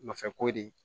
Nɔfɛ ko de